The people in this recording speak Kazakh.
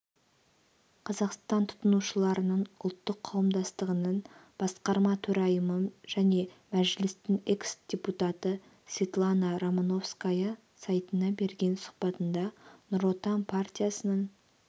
қазақстан тұтынушыларының ұлттық қауымдастығының басқарма төрайымы және мәжілістің экс-депутатысветлана романовская сайтына берген сұхбатында нұр отан партиясының